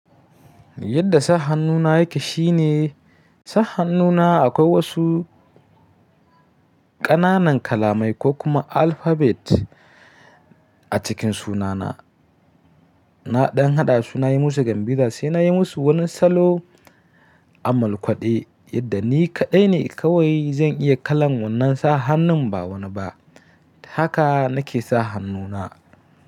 Yadda sa hannuna yake shine, sa hannuna akwai wasu ƙananan kalamai ko kuma alphabet a cikin sunana. Na ɗan haɗa sunayi musu Gambiza sai nayi musu wani salo amalkwaɗe yadda ni kaɗai ne kawai zan iya kallon wannan sa hannun ba wani ba. Haka nake sa hannuna.